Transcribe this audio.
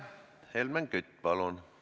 Helmen Kütt, palun!